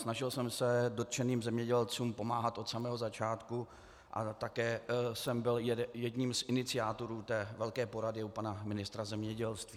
Snažil jsem se dotčeným zemědělcům pomáhat od samého začátku a také jsem byl jedním z iniciátorů té velké porady u pana ministra zemědělství.